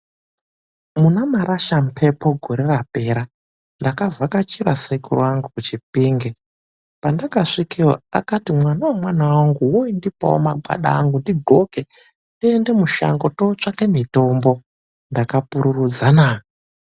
MUNAMARASHAMHEPO GORE RAPERA NDAKAVHAKACHIRA SEKERU ANGU KUCHIPINGE. PANDAKASVIKEYO AKANDITI MWANA WEMWANA WANGU NDIPOO MAGWANDA ANGU NDIDHLOKE TIENDE MUSHANGO TOOTSVAKE MITOMBO. NDAKAPURURUDZA NAA.